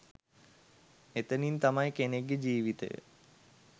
එතනින් තමයි කෙනෙක්ගෙ ජීවිතය